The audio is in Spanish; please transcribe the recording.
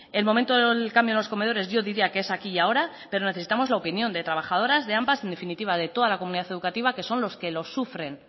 el momento del cambio en los comedores yo diría que es aquí y ahora pero necesitamos la opinión de trabajadoras de ampa en definitiva de toda la comunidad educativa que son los que lo sufren